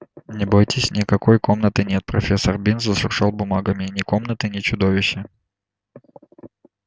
не бойтесь никакой комнаты нет профессор бинс зашуршал бумагами ни комнаты ни чудовища